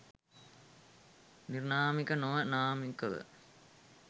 නිර්නාමිකව නොව නාමිකව